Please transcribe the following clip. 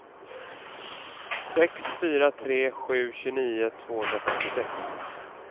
sex fyra tre sju tjugonio tvåhundrafemtiosex